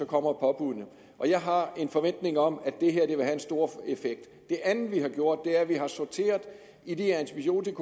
kommer påbuddet og jeg har en forventning om at det her vil have en stor effekt det andet vi har gjort er at vi har sorteret i de antibiotika